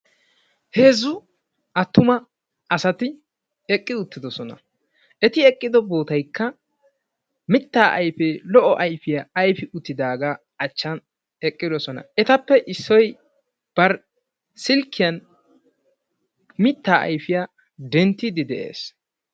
Heezzu attuma asati eqqi uttidosona. Eti eqqido bootaykka mittaa ayfee lo''o ayfiya ayfi uttidaagaa achchan eqqidosona. Etappe issoy bari silkkiyan mittaa ayfiya denttiiddi de'ees.